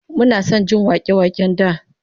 Muna son jin wake-waken da